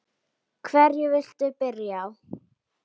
Hverju viltu byrja á?